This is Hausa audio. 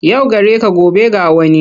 Yau gare ka gobe ga wani.